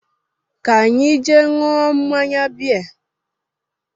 Ka anyị jee ṅụọ mmanya bea